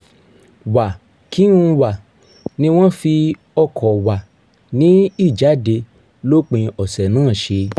wà-kí-n-wà ni wọ́n fi o̩kò̩ wà ní ìjáde lópin ọ̀sẹ̀ náà s̩e